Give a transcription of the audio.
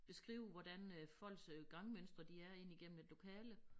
Beskrive hvordan øh folks øh gangmønstre de er ind igennem et lokale